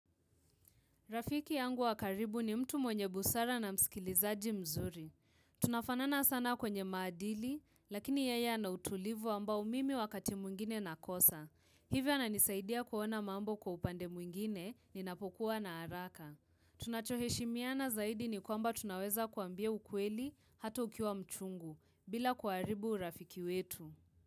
Rafiki yangu wa karibu ni mtu mwenye busara na msikilizaji mzuri. Tunafanana sana kwenye maadili, lakini yeye ana utulivu ambao mimi wakati mwingine nakosa. Hivyo ananisaidia kuona mambo kwa upande mwingine ninapokuwa na haraka. Tunachoheshimiana zaidi ni kwamba tunaweza kuambia ukweli hatu ukiwa mchungu, bila kuharibu urafiki wetu.